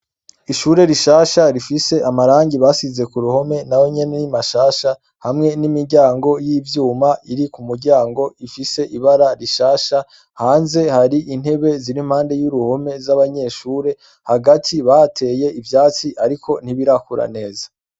Ishure rishasha rifise amarangi basize ku ruhome na bonyene r'imashasha hamwe n'imiryango y'ivyuma iri ku muryango ifise ibara rishasha hanze hari intebe ziri mpande y'uruhome z'abanyeshure hagati bateye ivyatsi ariko ntibirakura neza.